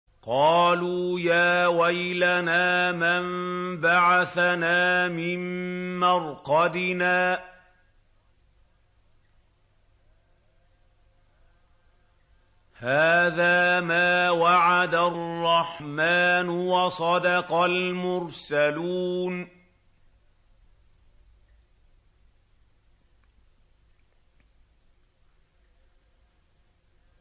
قَالُوا يَا وَيْلَنَا مَن بَعَثَنَا مِن مَّرْقَدِنَا ۜۗ هَٰذَا مَا وَعَدَ الرَّحْمَٰنُ وَصَدَقَ الْمُرْسَلُونَ